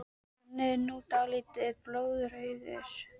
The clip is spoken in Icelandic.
Hann er nú dálítið mikið blóðrauður!